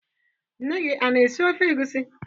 Nne gi ana-esi ofe egusi?